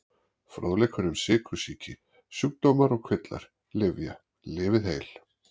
Fróðleikur um sykursýki Sjúkdómar og kvillar Lyfja- Lifið heil.